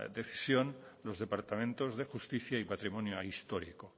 decisión los departamentos de justicia y patrimonio histórico